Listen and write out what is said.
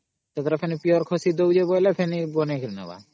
ଅମ୍ Pure